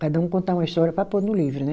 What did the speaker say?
Cada um contar uma história para pôr no livro, né?